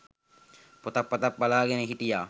පොතක් පතක් බලාගෙන හිටියා.